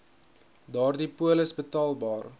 daardie polis betaalbaar